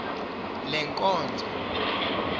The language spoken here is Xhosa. lenkonzo